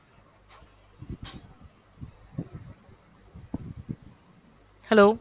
hello!